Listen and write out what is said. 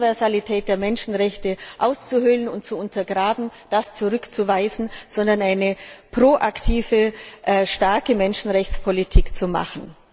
die Universalität der Menschenrechte auszuhöhlen und zu untergraben, zurückzuweisen und eine proaktive, starke Menschenrechtspolitik zu machen.